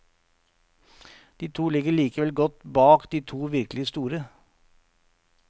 De to ligger likevel godt bak de to virkelig store.